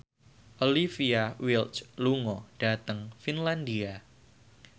Olivia Wilde lunga dhateng Finlandia